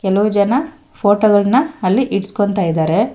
ಕೆಲವು ಜನ ಫೋಟೋ ಗಳನ್ನ ಅಲ್ಲಿ ಇಡ್ಸ್ಕೊಂತಾಯಿದರೆ.